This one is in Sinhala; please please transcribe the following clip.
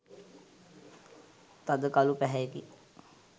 තද කළු පැහැයෙකි.